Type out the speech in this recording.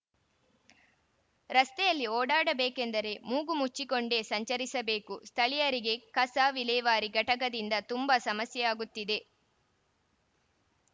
ರಸ್ತೆಯಲ್ಲಿ ಓಡಾಡಬೇಕೆಂದರೆ ಮೂಗು ಮುಚ್ಚಿಕೊಂಡೇ ಸಂಚರಿಸಬೇಕು ಸ್ಥಳೀಯರಿಗೆ ಕಸ ವಿಲೇವಾರಿ ಘಟಕದಿಂದ ತುಂಬಾ ಸಮಸ್ಯೆಯಾಗುತ್ತಿದೆ